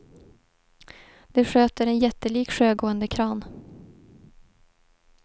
Det sköter en jättelik sjögående kran.